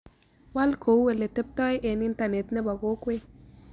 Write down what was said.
Waal kou ole teptoi eng' internet ne po kokwet